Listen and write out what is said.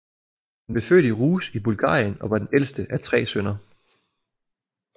Han blev født i Ruse i Bulgarien og var den ældste af tre sønner